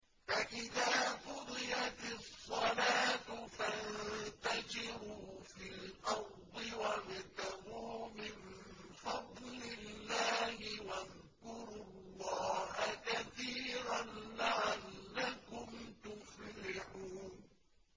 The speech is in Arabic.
فَإِذَا قُضِيَتِ الصَّلَاةُ فَانتَشِرُوا فِي الْأَرْضِ وَابْتَغُوا مِن فَضْلِ اللَّهِ وَاذْكُرُوا اللَّهَ كَثِيرًا لَّعَلَّكُمْ تُفْلِحُونَ